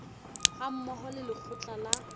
ha mmoho le lekgotla la